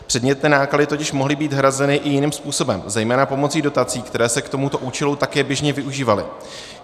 Předmětné náklady totiž mohly být hrazeny i jiným způsobem, zejména pomocí dotací, které se k tomuto účelu také běžně využívaly.